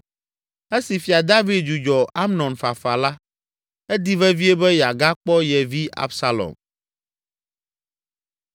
Esi Fia David dzudzɔ Amnon fafa la, edi vevie be yeagakpɔ ye vi Absalom.